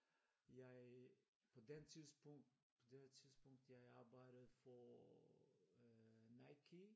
Jeg på den tidspunkt på det her tidspunkt jeg arbejdede for øh Nike